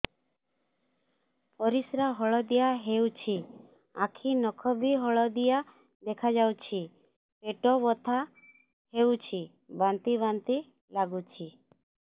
ପରିସ୍ରା ହଳଦିଆ ହେଉଛି ଆଖି ନଖ ବି ହଳଦିଆ ଦେଖାଯାଉଛି ପେଟ ବଥା ହେଉଛି ବାନ୍ତି ବାନ୍ତି ଲାଗୁଛି